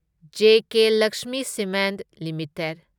JK Lakshmi cement limited